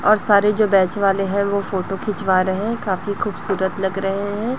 और सारे जो बैच वाले हैं वो फोटो खिंचवा रहे हैं काफी खूबसूरत लग रहे हैं।